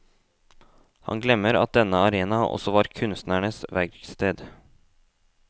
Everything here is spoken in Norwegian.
Han glemmer at denne arena også var kunstnerens verksted.